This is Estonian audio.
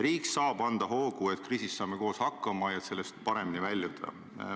Riik saab anda hoogu, et kriisis saada koos hakkama ja sellest paremini väljuda.